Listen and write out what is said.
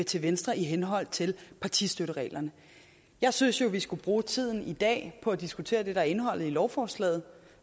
til venstre i henhold til partistøttereglerne jeg synes jo vi skulle bruge tiden i dag på at diskutere det der er indholdet i lovforslaget